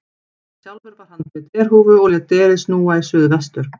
Sjálfur var hann með derhúfu og lét derið snúa í suð vestur.